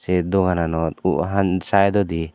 eh dogananot uh han saedodi.